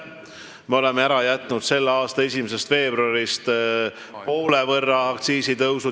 Me oleme selle aasta 1. veebruarist ära jätnud poole võrra aktsiisitõusu.